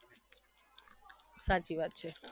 સાચી વાત છે